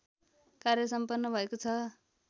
कार्य सम्पन्न भएको छ